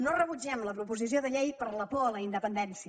no rebutgem la proposició de llei per la por a la independència